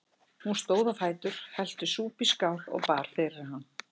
Hún stóð á fætur, hellti súpu í skál og bar fyrir hann.